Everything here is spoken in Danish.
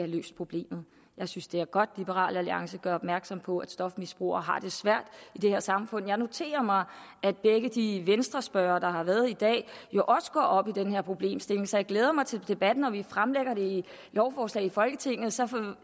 løst problemet jeg synes det er godt at liberal alliance gør opmærksom på at stofmisbrugere har det svært i det her samfund jeg noterer mig at begge de venstrespørgere der har været i dag jo også går op i den her problemstilling så jeg glæder mig til debatten når vi fremsætter lovforslaget i folketinget og så